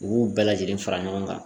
U b'u bɛɛ lajɛlen fara ɲɔgɔn kan